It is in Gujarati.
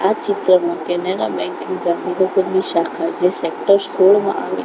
આ ચિત્રમાં કેનેરા બેન્ક ની ગાંધીનગરની શાખા જે સેક્ટર સોડમા આવી--